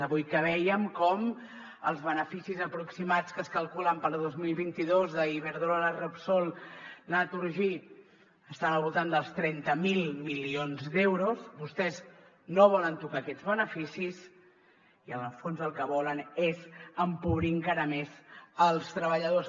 avui que vèiem com els beneficis aproximats que es calculen per al dos mil vint dos d’iberdrola repsol naturgy estan al voltant dels trenta miler milions d’euros vostès no volen tocar aquests beneficis i en el fons el que volen és empobrir encara més els treballadors